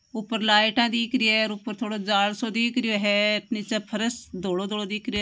ऊपर लाइट दिख रही है। ऊपर थोड़ो जाल दिख रहा है नीचे फर्श धोलो-धोलो दिख रहा है।